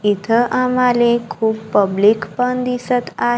इथं आम्हाले खूप पब्लिक पण दिसत आ--